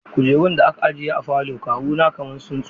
Kujerun da aka ajiye a falon kawuna kaman sun tsufa.